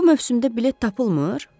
Bu mövsümdə bilet tapılmır.